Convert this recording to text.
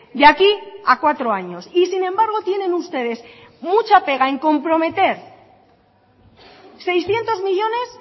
de aquí a cuatro años y sin embargo tienen ustedes mucha pega en comprometer seiscientos millónes